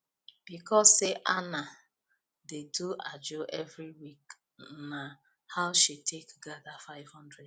because say ana dey do ajo every week na how she take gather 500